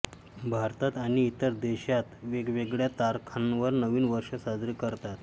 भारतात आणि इतर देशांत वेगवेगळ्या तारखांवर नवीन वर्ष साजरे करतात